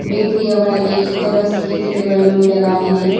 Bakery ಯ ಒಳಗೆ ಇತರ ಸಿಹಿ ತಿಂಡಿಗಳನ್ನು ಇಡಲಾಗಿದೆ.